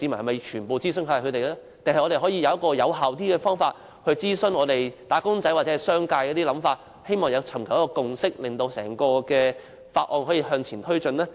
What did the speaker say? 還是我們應有一個更有效的方法諮詢"打工仔"或商界，尋求共識，令整項法案可以向前推展呢？